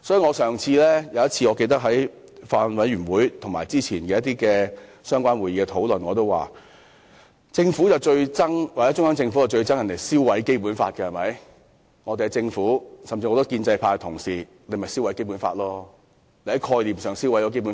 我記得我曾在法案委員會會議及早前某些相關會議上表示，中央政府最討厭別人燒毀《基本法》，但我們的政府以至許多建制派同事其實正在概念上燒毀《基本法》。